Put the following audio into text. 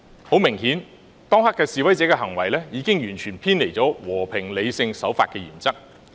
很明顯，當時示威者的行為已經完全偏離了和平、理性、守法的原則。